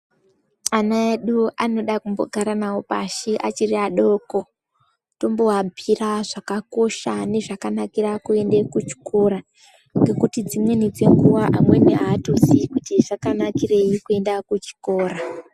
Ana edu anoda kumbogara navo pashi achiti adoko. Timboabuira nezvakakosha nezvakanakira kuende kuchikora. Ngekuti dzimweni dzenguva amweni haatozi kuti zvakanakirei kuenda kuchikora.